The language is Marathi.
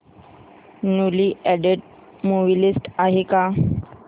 न्यूली अॅडेड मूवी लिस्ट आहे का